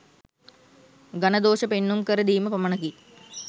ගණ දෝෂ පෙන්නුම් කර දීම පමණකි.